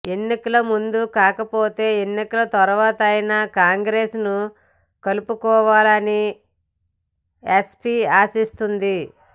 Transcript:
ఎన్నికల ముందు కాకపోతే ఎన్నికల తర్వాతైనా కాంగ్రెస్ను కలుపుకోవాలని ఎస్పి ఆశిస్తోంది